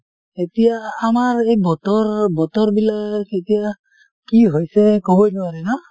এতিয়া আমাৰ এই বতৰ বতৰ বিলাক এতিয়া কি হৈছে ক'বই নোৱাৰি ন?